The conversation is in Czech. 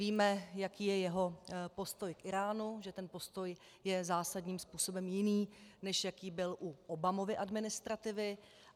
Víme, jaký je jeho postoj k Íránu, že ten postoj je zásadním způsobem jiný, než jaký byl u Obamovy administrativy.